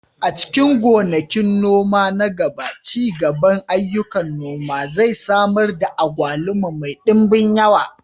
A cikin gonakin noma na gaba, ci gaban ayyukan noma zai samar da agwaluma mai ɗimbin yawa.